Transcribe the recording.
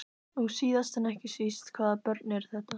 Og síðast en ekki síst, hvaða börn eru þetta?